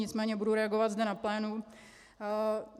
Nicméně budu reagovat zde na plénu.